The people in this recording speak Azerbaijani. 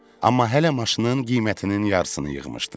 Amma hələ maşının qiymətinin yarısını yığmışdım.